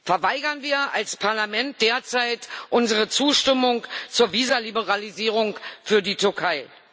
Verweigern wir als Parlament derzeit unsere Zustimmung zur Visa Liberalisierung für die Türkei!